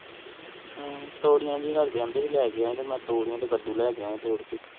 ਹਮਮ ਤਤੋਰਿਯਾ ਮੈ ਤੋਰਿਯਾ ਤੇਹ ਕੱਦੂ ਲੇਕਰ ਯਾ ਵ ਤੋੜ੍ਹ ਕੇ